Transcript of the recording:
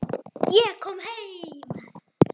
Ég kom heim!